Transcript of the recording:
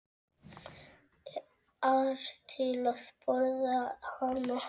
ar til að borða hana.